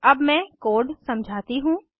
अब मैं कोड समझाती हूँ